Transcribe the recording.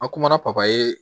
A kumana papiye